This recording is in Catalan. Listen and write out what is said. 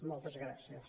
moltes gràcies